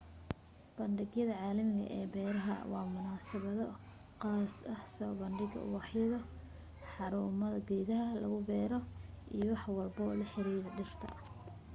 bandhigyada caalamiga ee beeraha waa munasabado qaaso soo badhiga ubaxyo xarumo geedaha lagu bero iyo wax walbo la xiriira dhirta